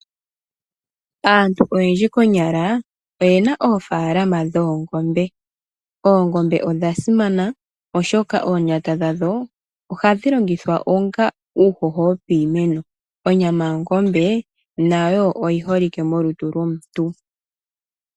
Aantu oyendji konyala oyena oofaalama dhoongombe. Oongombe odha simana oshoka omatudhi gadho ohaga longithwa onga uuhoho wopiimeno. Onyama yadho nayo oyi holike molutu lwomuntu.